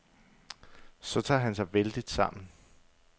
Så tager han sig vældigt sammen.